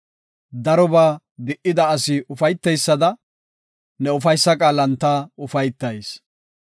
Darobaa di77ida asi ufayteysada, ne ufaysa qaalan ta ufaytayis.